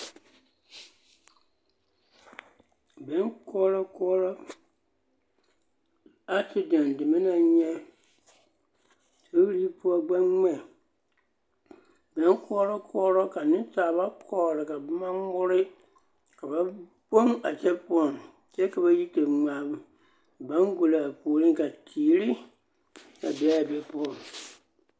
Benkɔɔrɔkɔɔrɔ asedɛn deme naŋ nyɛ sori poɔ gbɛŋmɛ benkɔɔrɔlɔɔrɔ ka nensaaba kɔɔre ka bomo ŋmore ka ba gboŋ a kyɛ poɔŋ kyɛ ba yi te ŋmaa baŋgolɔ puoreŋ ka teeri a be a be poɔŋ.